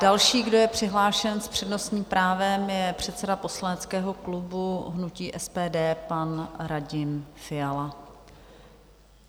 Další, kdo je přihlášen s přednostním právem, je předseda poslaneckého klubu hnutí SPD, pan Radim Fiala.